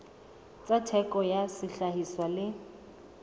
tsa theko ya sehlahiswa le